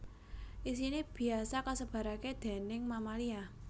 Isine biasa kasebarake déning mamalia